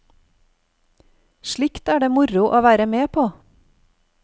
Slikt er det moro å være med på.